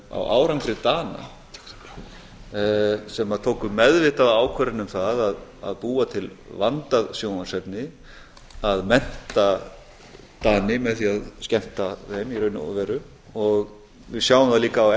á árangri dana sem tóku meðvitaða ákvörðun um það að búa til vandað sjónvarpsefni að mennta dani með því að skemmta þeim í raun og veru og við sjáum það líka